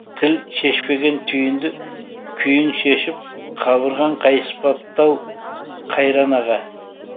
тіл шешпеген түйінді күйің шешіп қабырғаң қайыспапты ау қайран аға